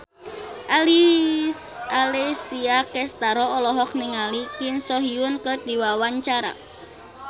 Alessia Cestaro olohok ningali Kim So Hyun keur diwawancara